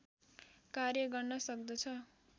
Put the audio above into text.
कार्य गर्न सक्दछ